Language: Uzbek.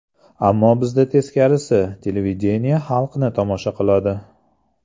Ammo bizda teskarisi televideniye xalqni tomosha qiladi.